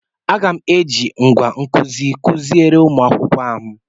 M ga-eji ngwá nkụzi kụziere ụmụ akwụkwọ ahụ.